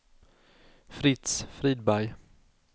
Fritz Friberg